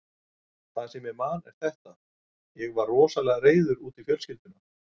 Það sem ég man er þetta: Ég var rosalega reiður út í fjölskylduna.